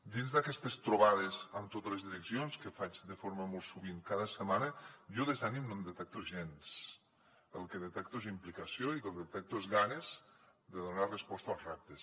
dins d’aquestes trobades amb totes les direccions que faig de forma molt sovint cada setmana jo de desànim no en detecto gens el que detecto és implicació i el que detecto és ganes de donar resposta als reptes